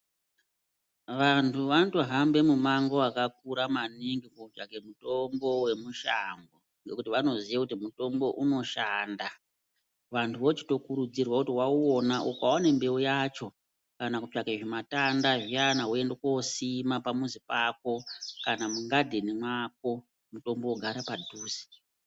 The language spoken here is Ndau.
Vantu vanotohamba mumango vakakura maningi kotsvake mutombo vemushango. Ngekuti vanoziye kuti mutombo unoshanda, vantu vochitokurudzirwa kuti vauona ukaone mbeu yacho kana kutsvake zvimatanda zviya voenda kosima pamuzi pako. Kana mugadheni mwako mutombo vogara panduze.